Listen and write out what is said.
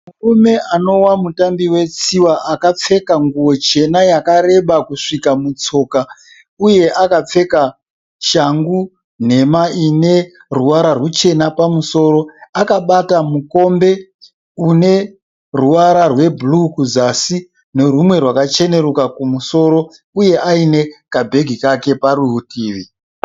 Murume anowa mutambi wetsiwa akapfeka nguwo chena yakareba kusvika mutsoka. Uye akapfeka shangu nhema ineruvara ruchena pamusoro. Akabata mukombe une ruwara rwebhuruwu kuzasi nerwumwe rwakachenurika pamusoro, uye aine kabhegi kake parudivi.